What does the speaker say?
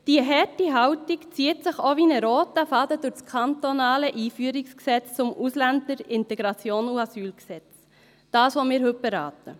Diese harte Haltung zieht sich auch wie einer roten Faden durch das kantonale Einführungsgesetz zum Ausländer-, Integrations- und Asylgesetz, das Gesetz also, das wir heute beraten.